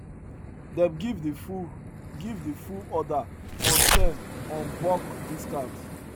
them give the full give the full order on ten on bulk discount